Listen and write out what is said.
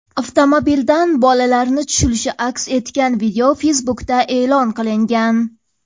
Avtomobildan bolalarni tushilishi aks etgan video Facebook’da e’lon qilingan .